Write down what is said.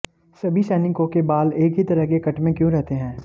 सभी सैनिकों के बाल एक ही तरह के कट में क्यों रहते हैं